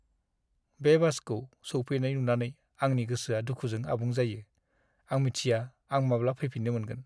बे बासखौ सौफैनाय नुनानै आंनि गोसोआ दुखुजों आबुं जायो। आं मिथिया आं माब्ला फैफिननो मोनगोन!